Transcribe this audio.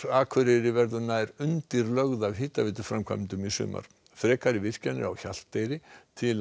Akureyri verður nær undirlögð af hitaveituframkvæmdum í sumar frekari virkjanir á Hjalteyri til